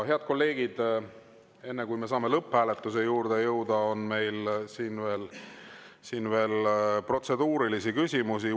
Head kolleegid, enne kui me saame lõpphääletuse juurde minna, on meil veel protseduurilisi küsimusi.